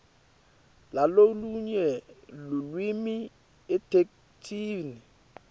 lalolunye lulwimi etheksthini